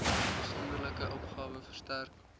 afsonderlike opgawe verstrek